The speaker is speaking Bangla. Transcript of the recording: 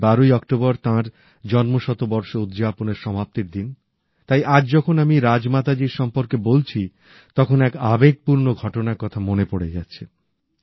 এই ১২ ই অক্টোবর তাঁর জন্মশতবর্ষ উদযাপনের সমাপ্তির দিন তাই আজ যখন আমি রাজ মাতাজীর সম্পর্কে বলছি তখন এক আবেগপূর্ণ ঘটনার কথা মনে পড়ে যাচ্ছে